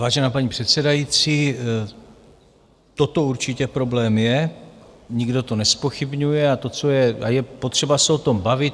Vážená paní předsedající, toto určitě problém je, nikdo to nezpochybňuje a je potřeba se o tom bavit.